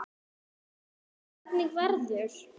Hvernig verður?